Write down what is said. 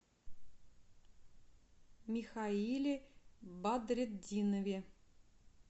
михаиле бадретдинове